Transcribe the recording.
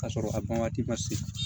K'a sɔrɔ a ban waati ma se